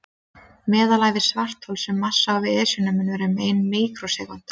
Meðalævi svarthols með massa á við Esjuna mun vera um ein míkrósekúnda.